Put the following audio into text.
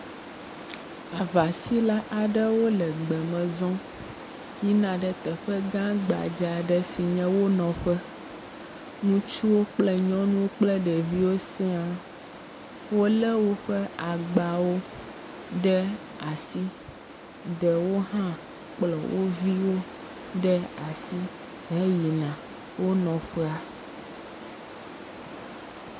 Aŋasíla aɖewo le gbeme zɔm yina ɖe teƒe gã gbadza aɖe si nye wo nɔƒe. Ŋutsuwo kple nyɔnuwo kple ɖeviwo siaa. Wolé woƒe agbawo ɖe asi, ɖewo hã kplɔ wo viwo ɖe asi heyina wo nɔƒea.